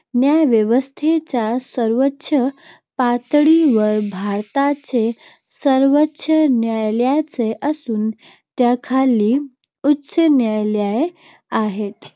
न्यायव्यवस्थेच्या सर्वोच्च पातळीवर भारताचे सर्वोच्च न्यायालय असून त्याखाली उच्च न्यायालये आहेत.